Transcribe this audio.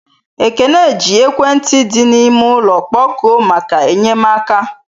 Ekene ji ekwentị di n'ime ụlọ kpọkuo maka enyemaka.